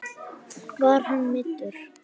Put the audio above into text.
Var hann meiddur?